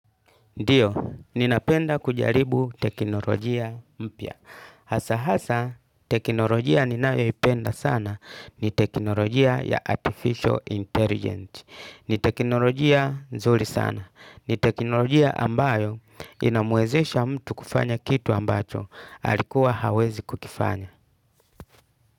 Ndiyo, ninapenda kujaribu teknolojia mpya. Hasa hasa, teknolojia ninayoipenda sana ni teknolojia ya Artificial Intelligence. Ni teknolojia nzuri sana. Ni teknolojia ambayo inamwezesha mtu kufanya kitu ambacho alikuwa hawezi kukifanya.